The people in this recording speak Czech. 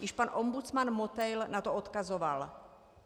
Již pan ombudsman Motejl na to odkazoval.